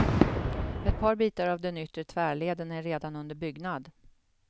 Ett par bitar av den yttre tvärleden är redan under byggnad.